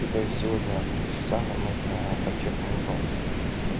это сегодня в три часа нам нужно торчать у мониторов